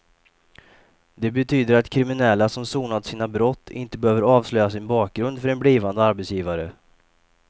Det betyder att kriminella som sonat sina brott inte behöver avslöja sin bakgrund för en blivande arbetsgivare.